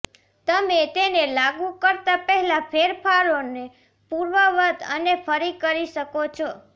તમે તેને લાગુ કરતાં પહેલાં ફેરફારોને પૂર્વવત્ અને ફરી કરી શકો છો